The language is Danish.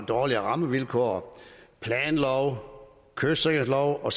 dårlige rammevilkår planloven kystsikringsloven og